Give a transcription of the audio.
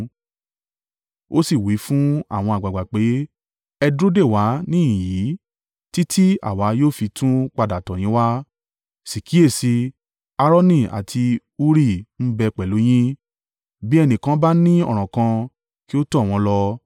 Ó sì wí fún àwọn àgbàgbà pé, “Ẹ dúró dè wá níhìn-ín yìí, títí àwa yóò fi tún padà tọ̀ yín wá, sì kíyèsi i, Aaroni àti Huri ń bẹ pẹ̀lú yín, bí ẹnìkan bá ni ọ̀ràn kan, kí ó tọ̀ wọ́n lọ.”